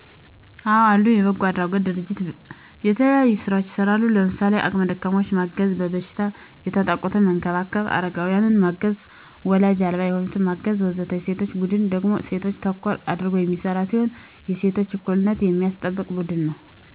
አዎ አሉ። የበጎ አድራጎት ድርጅቶች የተለያዩ ስራዎችን ይሰራሉ። ለምሳሌ:- አቅመ ደካማዎችን ማገዝ፣ በበሽታ የተጠቁትን መንከባከብ፣ አረጋውያንን ማገዝ፣ ዎላጅ አልባ የሆኑትን ማገዝ ... ወዘተ። የሴቶች ቡድን ደግሞ እሴቶችን ተኮር አድርጎ የሚሰራ ሲሆን የሴቶችን እኩልነት የሚያስጠብቅ ቡድን ነው።